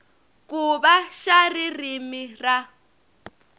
ku va xa ririmi ra